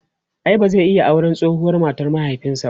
ai ba zai iya auran tsohuwar matar mahaifinsa ba?